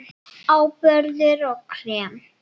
Áburður og krem